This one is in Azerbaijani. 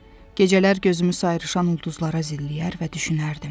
Gecələr gözümü sayrışan ulduzlara zilləyər və düşünərdim.